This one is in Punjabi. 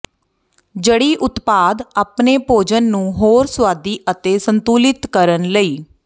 ਜੜੀ ਉਤਪਾਦ ਆਪਣੇ ਭੋਜਨ ਨੂੰ ਹੋਰ ਸੁਆਦੀ ਅਤੇ ਸੰਤੁਲਿਤ ਕਰਨ ਲਈ